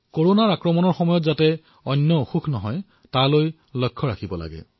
কৰোনাৰ সংক্ৰমণৰ সময়ত আমি অন্য ৰোগৰ পৰা দূৰৈত থাকিব লাগিব